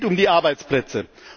Es geht um die Arbeitsplätze.